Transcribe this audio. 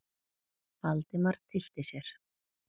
Valdimar tyllti sér.